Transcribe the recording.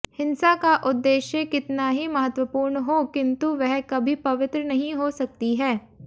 हिंसा का उद्देश्य कितना ही महत्वपूर्ण हो किन्तु वह कभी पवित्र नहीं हो सकती है